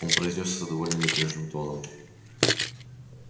он произнёс это довольно небрежным тоном